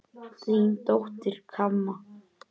Þín dóttir, Kamma.